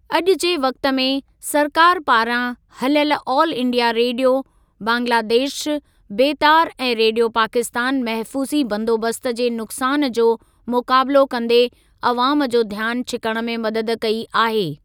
अॼु जे वक़्ति में, सरकार पारां हलियल ऑल इंडिया रेडियो, बांग्लादेश बेतार ऐं रेडियो पाकिस्तान महफूज़ी बंदोबस्‍त जे नुकसान जो मुकाबलो कंदे अवाम जो ध्‍यानु छिकण में मदद कई आहे।